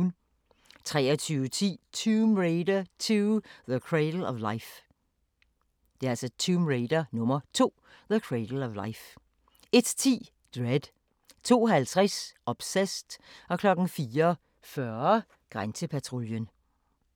23:10: Tomb Raider 2: The Cradle of Life 01:10: Dredd 02:50: Obsessed 04:40: Grænsepatruljen